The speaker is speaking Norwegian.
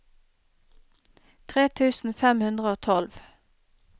tre tusen fem hundre og tolv